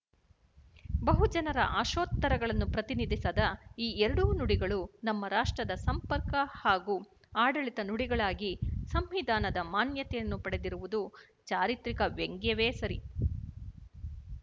ಬಹಜನರ ಆಶೋತ್ತರಗಳನ್ನು ಪ್ರತಿನಿಧಿಸದ ಈ ಎರಡೂ ನುಡಿಗಳು ನಮ್ಮ ರಾಷ್ಟ್ರದ ಸಂಪರ್ಕ ಹಾಗೂ ಆಡಳಿತ ನುಡಿಗಳಾಗಿ ಸಂವಿಧಾನದ ಮಾನ್ಯತೆಯನ್ನು ಪಡೆದಿರುವುದು ಚಾರಿತ್ರಿಕ ವ್ಯಂಗವೇ ಸರಿ